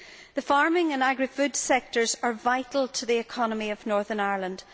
The farming and agri foods sectors are vital to the economy of Northern Ireland.